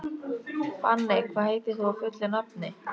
Fanney, hvað heitir þú fullu nafni?